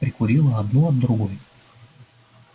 прикурила одну от другой